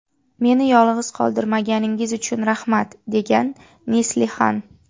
Meni yolg‘iz qoldirmaganingiz uchun rahmat” – degan Neslihan.